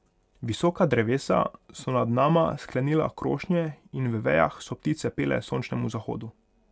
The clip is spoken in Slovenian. Visoka drevesa so nad nama sklenila krošnje in v vejah so ptice pele sončnemu zahodu.